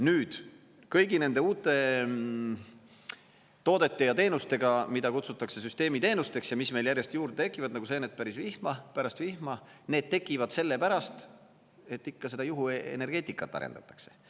Nüüd kõigi nende uute toodete ja teenustega, mida kutsutakse süsteemiteenusteks, mis meil järjest juurde tekivad nagu seened pärast vihma, need tekivad sellepärast, et ikka seda juhuenergeetikat arendatakse.